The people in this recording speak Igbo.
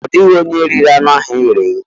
Ọ dịghị onye riri anụ ahụ e ghere eghe.